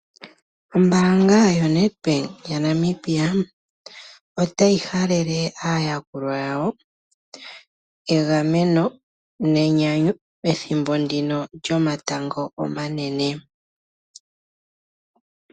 Ombaanga yoNedbank yaNamibia otayi halele aayakulwa yawo egameno nenyanyu pethimbo ndino lyomatango omanene.